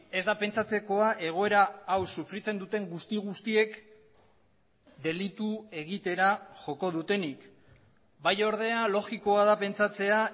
ezda pentsatzekoa egoera hau sufritzen duten guzti guztiek delitu egitera joko dutenik bai ordea logikoa da pentsatzea